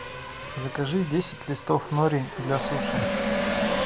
закажи десять листов нори для суши